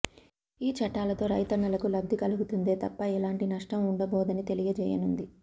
ఈ చట్టాలతో రైతన్నలకు లబ్ధి కలుగుతుందే తప్ప ఎలాంటి నష్టం ఉండబోదని తెలియజేయనుంది